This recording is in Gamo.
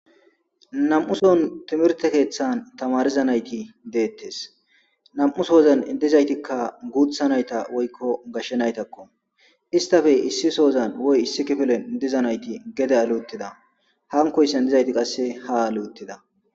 Nam7uson timirte keeththan tamariza nayti deettes nam7usoozan dizaytikka guutha nayta woykko gashshe naytakko istafe issi soozan woy issi kifilen diza nayti gede luuttida hankoyssan dizayti qasse ha luutida.